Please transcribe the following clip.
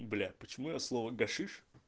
бля почему я слово гашиш